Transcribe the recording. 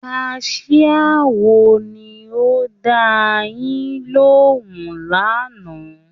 Kaṣiá wo ni ó dáa yín lóhùn lánàá?